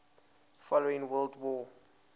following world war